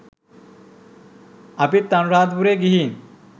අපිත් අනුරධපුරේ ගිහින්